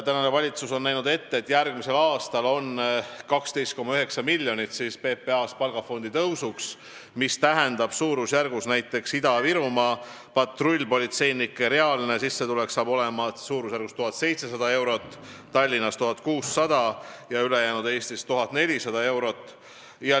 Tänane valitsus on näinud ette järgmisel aastal 12,9 miljonit eurot PPA palgafondi tõusuks, mis tähendab, et näiteks Ida-Virumaal hakkab patrullpolitseinike reaalne sissetulek olema suurusjärgus 1700 eurot, Tallinnas 1600 eurot ja ülejäänud Eestis 1400 eurot.